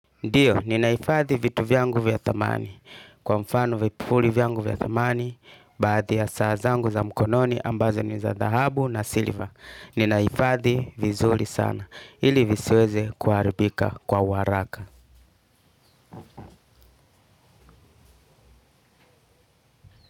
Ndio, ninahifadhi vitu vyangu vya thamani. Kwa mfano vipuli vyangu vya thamani baadhi ya saa zangu za mkononi ambazo ni za dhahabu na silver. Ninahifadhi vizuri sana ili visiweze kuharibika kwa uharaka.